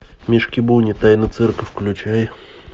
мишки буни тайна цирка включай